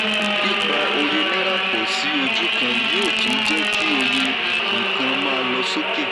pípa òye náírà pọ̀ sí ojú kan yóò tún jẹ́ kí òye nkan má lọ sókè.